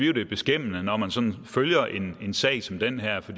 at det er beskæmmende når man sådan følger en sag som den her for